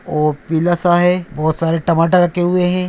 ओ पीला सा है बहुत सारे टमाटर रखे हुए हैं ।